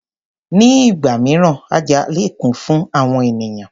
Ní ìgbà mìíràn oja lè kún fún àwọn ènìyàn.